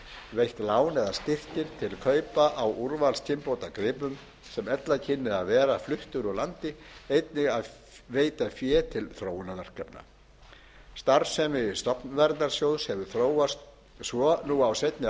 veitt lán eða styrkir til kaupa á úrvalskynbótagripum sem ella kynnu að vera fluttir úr landi einnig að veita fé til þróunarverkefna starfsemi stofnverndarsjóðs hefur þróast svo nú á seinni